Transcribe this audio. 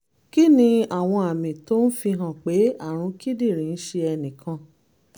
kí ni àwọn àmì tó ń fi hàn pé àrùn kíndìnrín ń ṣe ẹnì kan?